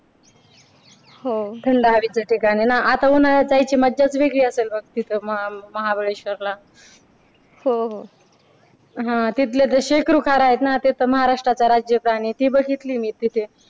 हो थंड हवेच ठिकाण आहे ना आता उन्हाळ्यात जायची मज्जाच वेगळी आहे बघ तिथं महाबळेश्वर ला हो हो हा तिथले ते शेकरू खार आहेत ना ते तर महाराष्ट्राचा राज्यप्राणी ते बघितले मी तिथे